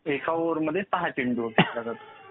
एका ओव्हर मध्ये सहा चेंडू फेकले जातात.